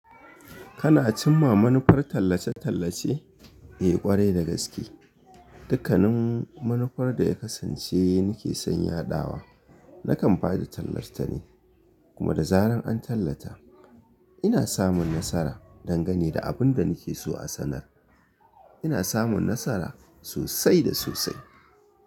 Kana cimma manufar tallace-tallace? Eh, kwarai da gaske. Dukkanin manufar da ya kasance nake son ya ɗawa, nakan ba da tallar tane kuma da zarar an tallata, ina samun nasara don gani da abin da nake so a sanar. Ina samun nasara sosai da sosai.